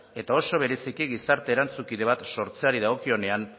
eta oso bereziki gizarte erantzukipe bat sortzeari dagokionean